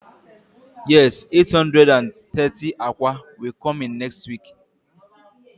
Yes eight hundred and thirty akwa will come in next week